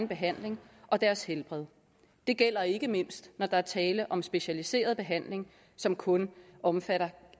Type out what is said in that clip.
behandling og deres helbred det gælder ikke mindst når der er tale om specialiseret behandling som kun omfatter